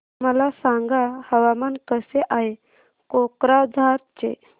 मला सांगा हवामान कसे आहे कोक्राझार चे